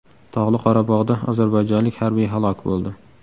Tog‘li Qorabog‘da ozarbayjonlik harbiy halok bo‘ldi.